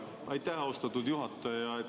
Aitäh, austatud juhataja!